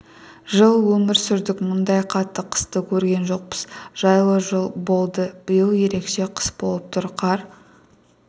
жыл өмір сүрдік мұндай қатты қысты көрген жоқпыз жайлы болды биыл ерекше қыс болып тұр қар